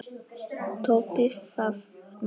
Toppið það nafn!